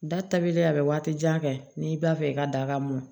Da tabilen a bɛ waati jan kɛ n'i b'a fɛ i ka daga mun